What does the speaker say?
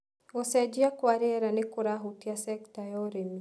Gũcenjia kwa rĩera nĩkũrahutia sekta ya ũrĩmi.